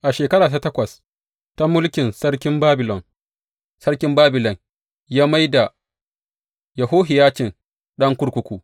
A shekara ta takwas ta mulkin sarkin Babilon, sarkin Babilon ya mai da Yehohiyacin ɗan kurkuku.